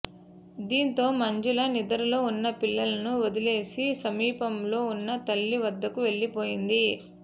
దీంతో మంజుల నిద్రలో ఉన్న పిల్లలను వదిలేసి సమీపంలో ఉన్న తల్లి వద్దకు వెళ్లిపోయింది